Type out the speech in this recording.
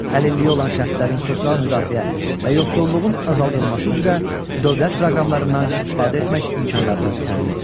Əlilliyi olan şəxslərin sosial müdafiə və yoxsulluğun azaldılması üzrə dövlət proqramlarından istifadə etmək imkanlarını təmin edir.